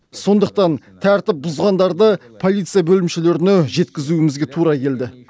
сондықтан тәртіп бұзғандарды полиция бөлімшелеріне жеткізумізге тура келді